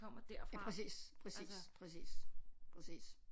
Ja præcis præcis præcis præcis